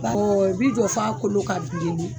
i bi jɔ f'a kolo ka bilen de.